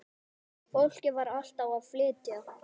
Fólkið var alltaf að flytja.